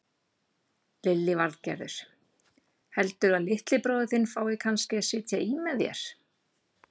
Lillý Valgerður: Heldurðu að litli bróðir þinn fái kannski að sitja í með þér?